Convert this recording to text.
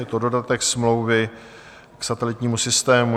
Je to dodatek smlouvy k satelitnímu systému.